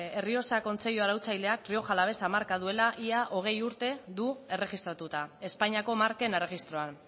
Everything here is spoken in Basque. errioxa kontseilu arautzaileak rioja alavesa marka duela ia hogei urte du erregistratuta espainiako marken erregistroan